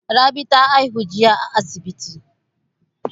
Rabi ta haihu jiya a asibi.